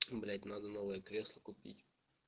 блять надо новое кресло купить